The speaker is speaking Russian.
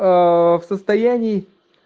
в состоянии